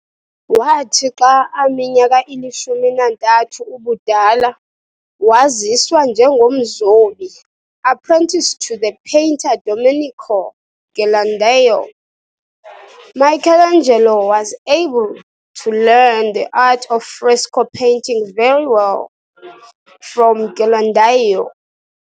Wathi xa aminyaka ilishumi nantathu ubudala, waziswa njengomzobi apprenticed to the painter Domenico Ghirlandaio. Michelangelo was able to learn the art of fresco painting very well, from Ghirlandaio.